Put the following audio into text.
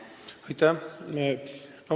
Aitäh!